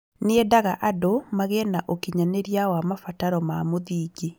Nĩendaga andũ magĩe na ũkinyanĩria wa mabataro ma mũthingi